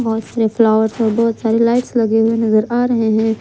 बहोत सारे फ्लॉवर्स और बहोत सारे लाइट्स लगे हुए नजर आ रहे हैं।